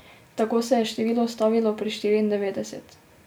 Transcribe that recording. Tako se je število ustavilo pri štiriindevetdeset.